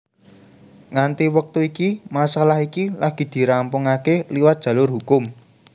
Nganti wektu iki masalah iki lagi dirampungaké liwat jalur hukum